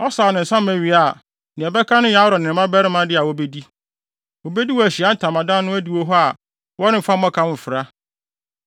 Ɔsaw ne nsa ma wie a, nea ɛbɛka no yɛ Aaron ne ne mmabarima de a wobedi. Wobedi wɔ Ahyiae Ntamadan no adiwo hɔ a wɔremfa mmɔkaw mfra.